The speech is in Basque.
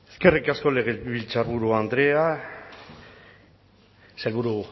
eskerrik asko legebiltzarburu andrea sailburu